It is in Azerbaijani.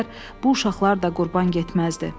bu uşaqlar da qurban getməzdi.